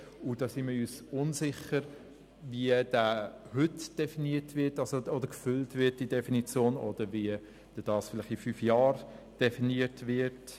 Hier sind wir uns unsicher, wie die Definition heute erfüllt und wie dies vielleicht in fünf Jahren definiert wird.